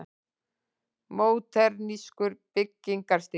Módernískur byggingarstíll.